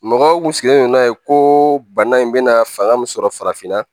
Mɔgɔw kun sigilen don n'a ye ko bana in bɛna fanga min sɔrɔ farafinna